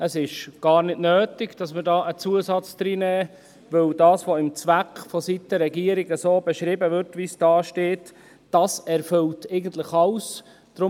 Es ist gar nicht nötig, hier einen Zusatz reinzunehmen, weil das, was im Zweck vonseiten der Regierung beschrieben wird, wie es dasteht, eigentlich alles erfüllt.